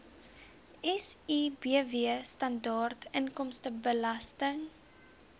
sibw standaard inkomstebelasting